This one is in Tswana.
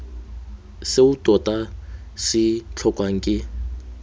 seo tota se tlhokwang ke